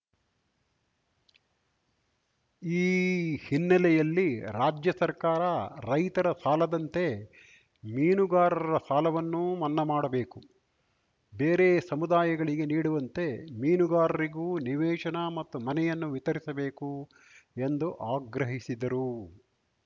ಈ ಹಿನ್ನೆಲೆಯಲ್ಲಿ ರಾಜ್ಯ ಸರ್ಕಾರ ರೈತರ ಸಾಲದಂತೆ ಮೀನುಗಾರರ ಸಾಲವನ್ನೂ ಮನ್ನಾ ಮಾಡಬೇಕು ಬೇರೆ ಸಮುದಾಯಗಳಿಗೆ ನೀಡುವಂತೆ ಮೀನುಗಾರರಿಗೂ ನಿವೇಶನ ಮತ್ತು ಮನೆಯನ್ನು ವಿತರಿಸಬೇಕು ಎಂದು ಆಗ್ರಹಿಸಿದರು